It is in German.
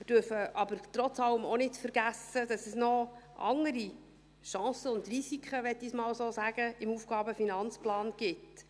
Wir dürfen aber trotz allem auch nicht vergessen, dass es noch andere Chancen und Risiken, so möchte ich das einmal nennen, im AFP gibt.